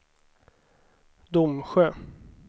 Domsjö